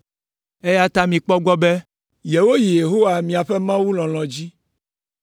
eya ta mikpɔ egbɔ be yewoyi Yehowa miaƒe Mawu lɔlɔ̃ dzi.